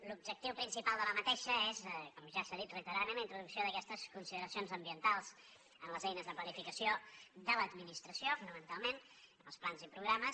l’objectiu principal d’aquesta és com ja s’ha dit reiteradament la introducció d’aquestes consideracions ambientals en les eines de planificació de l’administració fonamentalment els plans i programes